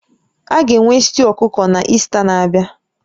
A ga-enwe stew ọkụkọ na Ista na-abịa?